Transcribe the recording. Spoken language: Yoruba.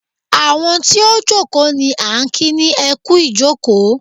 Àwọn tí ó jókòó ní à ń kí ni ẹ kú ìjókòó.